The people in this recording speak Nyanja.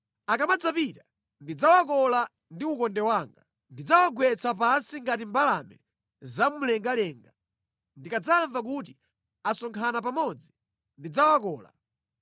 Akamadzapita, ndidzawakola ndi ukonde wanga; ndidzawagwetsa pansi ngati mbalame zamumlengalenga. Ndikadzamva kuti asonkhana pamodzi ndidzawakola.